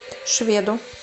шведу